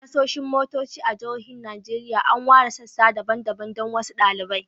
A tashoshin motoci a jihohin Najeriya, an ware sassa daban-daban don wasu dalilai.